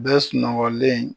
Bɛɛ sunɔgɔlen